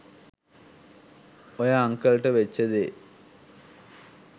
ඔය අංකල්ට වෙච්ච දේ